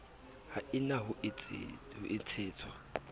ha e na ho tshetswa